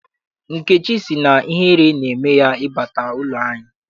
Nkechi sị na ihere na-eme ya ị bata n'ụlọ anyị.